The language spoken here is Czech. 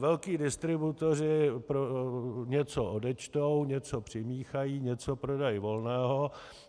Velcí distributoři něco odečtou, něco přimíchají, něco prodají volného.